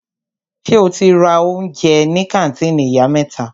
Ṣe o ti ra oúnjẹ ní kàńtìnì Ìyá mẹ́ta?